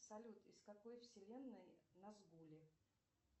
салют из какой вселенной назгулы